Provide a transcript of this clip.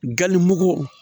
Gali mugu